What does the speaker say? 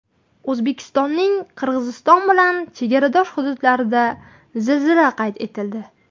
O‘zbekistonning Qirg‘iziston bilan chegaradosh hududlarida zilzila qayd etildi.